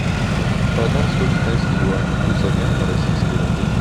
продам сто китайских юаней курс обмена на российские рубли